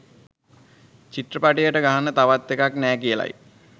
චිත්‍රපටියට ගහන්න තවත් එකක් නෑ කියලයි.